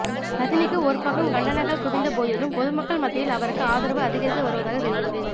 ரஜினிக்கு ஒருபக்கம் கண்டனங்கள் குவிந்து போதிலும் பொதுமக்கள் மத்தியில் அவருக்கு ஆதரவு அதிகரித்து வருவதாக தெரிகிறது